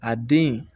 A den